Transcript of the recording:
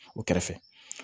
O kɛrɛfɛ